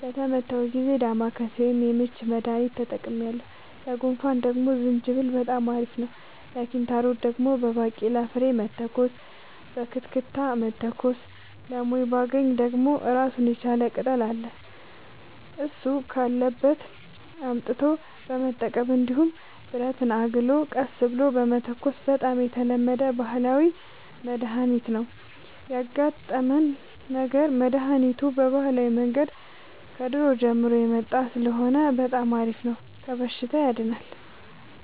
በታመምሁ ጊዜ ዳማከሴ ወይም የምች መድሀኒት ተጠቅሜያለሁ ለጉንፋን ደግሞ ዝንጅብል በጣም አሪፍ ነው ለኪንታሮት ደግሞ በባቄላ ፍሬ መተኮስ በክትክታ መተኮስ ለሞይባገኝ ደግሞ እራሱን የቻለ ቅጠል አለ እሱ ካለበት አምጥቶ መጠቀም እንዲሁም ብረትን አግሎ ቀስ ብሎ መተኮስ በጣም የተለመደ ባህላዊ መድሀኒት ነው ያጋጠመን ነገር መድሀኒቱ በባህላዊ መንገድ ከድሮ ጀምሮ የመጣ ስለሆነ በጣም አሪፍ ነው ከበሽታውም ያድናል።